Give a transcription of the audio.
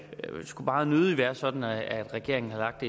skulle meget nødig være sådan at regeringen har lagt